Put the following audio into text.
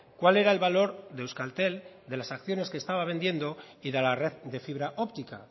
cuál era el valor de euskaltel de las acciones que estaba vendiendo y de la red de fibra óptica